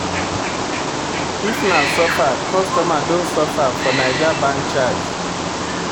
If na suffer, customer don suffer for Naija bank charge.